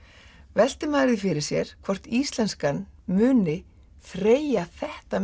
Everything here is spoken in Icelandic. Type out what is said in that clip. veltir maður því fyrir sér hvort íslenskan muni þreyja þetta